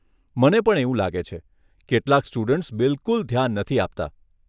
મને પણ એવું લાગે છે, કેટલાંક સ્ટુડન્ટ્સ બિલકુલ ધ્યાન નથી આપતા.